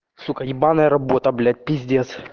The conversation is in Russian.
сука ебаная работа блять пиздец